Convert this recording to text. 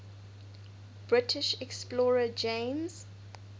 british explorer james